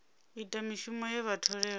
ita mishumo ye vha tholelwa